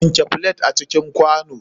Wanke flet a cikin kwano.